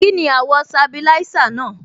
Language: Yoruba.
Kíni àwọ̀ sabilisa náà?